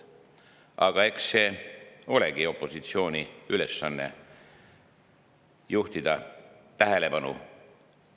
Aga eks see olegi opositsiooni ülesanne sellele tähelepanu juhtida.